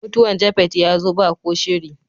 Mutuwan "Japheth " ya zo ba ko shiri.